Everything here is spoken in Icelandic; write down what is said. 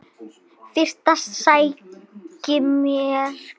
Fyrst sæki ég mér kaffi.